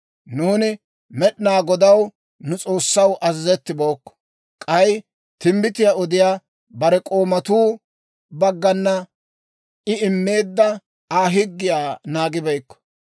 Nuuni Med'inaa Godaw, nu S'oossaw, azazettibookko; k'ay timbbitiyaa odiyaa bare k'oomatuu baggana I immeedda Aa higgiyaa naagibeykko.